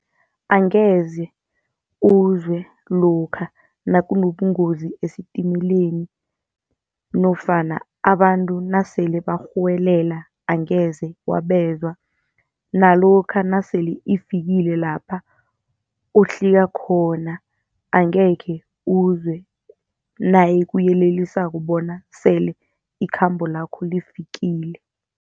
Angeze uzwe lokha nakunobungozi esitimeleni, nofana abantu nasele barhuwelela angeze wabezwa. Nalokha nasele ifikile lapha uhlika khona, angekhe uzwe nayikuyelelisako bona sele ikhambo lakho lifikile.